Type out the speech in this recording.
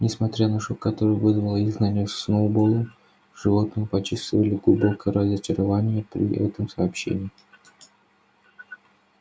несмотря на шок который вызвало изгнание сноуболла животные почувствовали глубокое разочарование при этом сообщении